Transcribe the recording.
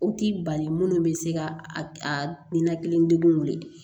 O t'i bali minnu bɛ se ka a ninakili degun weele